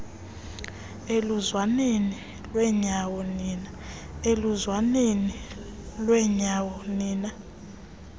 eluzwaneni lwenyawo nina